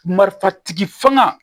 Marifa tigi fanga